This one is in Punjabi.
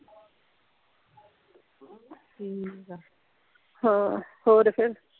ਠੀਕ ਆ ਹਾਂ ਹੋਰ ਫੇਰ